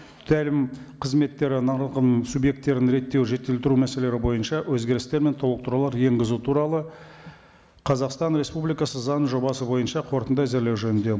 тәлім қызметтері нарығының субъекттерін реттеу жетілдіру мәселелері бойынша өзгерістер мен толықтырулар енгізу туралы қазақстан республикасы заңының жобасы бойынша қорытынды әзірлеу жөнінде